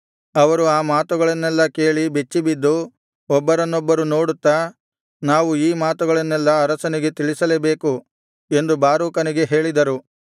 ಅವರು ಆ ಮಾತುಗಳನ್ನೆಲ್ಲಾ ಕೇಳಿ ಬೆಚ್ಚಿಬಿದ್ದು ಒಬ್ಬರನ್ನೊಬ್ಬರು ನೋಡುತ್ತಾ ನಾವು ಈ ಮಾತುಗಳನ್ನೆಲ್ಲಾ ಅರಸನಿಗೆ ತಿಳಿಸಲೇಬೇಕು ಎಂದು ಬಾರೂಕನಿಗೆ ಹೇಳಿದರು